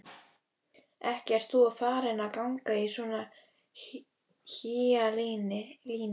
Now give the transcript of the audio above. Ekki ert þú farin að ganga í svona hýjalíni?